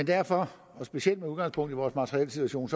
derfor og specielt med udgangspunkt i vores materielsituation